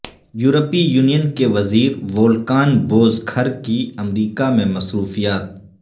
یورپی یونین کے وزیر وولکان بوزکھر کی امریکہ میں مصروفیات